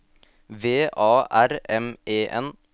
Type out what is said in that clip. V A R M E N